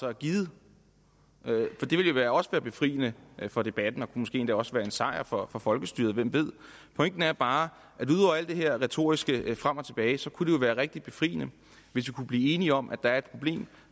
er givet det ville jo også være befriende for debatten og det måske endda også være en sejr for for folkestyret hvem ved pointen er bare at den her retorik frem og tilbage kunne være rigtig befriende hvis vi kunne blive enige om at der er et problem